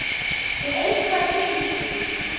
Er eitthvað til í því?